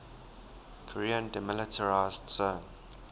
korean demilitarized zone